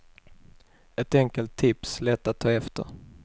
Ett enkelt tips lätt att ta efter.